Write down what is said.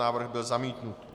Návrh byl zamítnut.